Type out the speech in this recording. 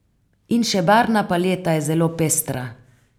In še barvna paleta je zelo pestra.